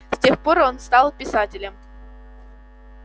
с тех пор он стал писателем